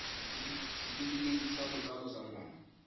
setefikeiti sa botsalo sa ngwana